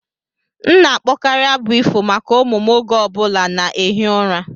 M na-akpọkarị abụ ifo maka ụmụ m oge ọ bụla na-ehi ụra.